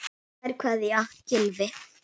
Kær kveðja, Gylfi.